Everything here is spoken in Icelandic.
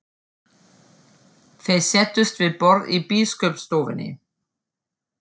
Þeir settust við borð í biskupsstofunni.